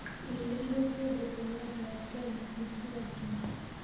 Irio iria ciandetũo nĩ andũ a Kenya nĩ cia ngima.